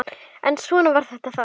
En svona var þetta þá.